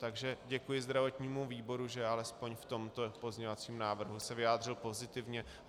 Takže děkuji zdravotnímu výboru, že alespoň v tomto pozměňovacím návrhu se vyjádřil pozitivně.